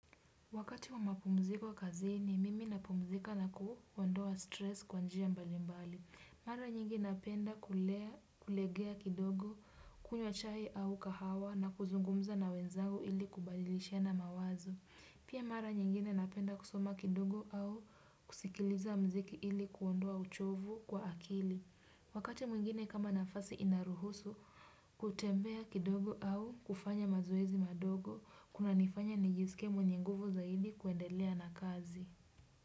Wakati wa mapumziko kazini mimi napumzika na kuondoa stress kwa njia mbali mbali. Mara nyingi napenda kulegea kidogo, kunywa chai au kahawa na kuzungumza na wenzangu ili kubalilishana mawazo. Pia mara nyingine napenda kusoma kidogo au kusikiliza mziki ili kuondoa uchovu kwa akili. Wakati mwingine kama nafasi inaruhusu, kutembea kidogo au kufanya mazoezi madogo. Kuna nifanya nijisike mwenye nguvu zaidi kuendelea na kazi.